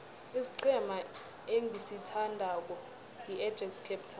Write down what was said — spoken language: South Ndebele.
isiqhema engisithandako yiajax cape town